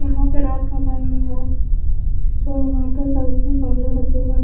यहां पे रात का टाइमिंग है जो यहां पे साइड में गमले रखे हैं।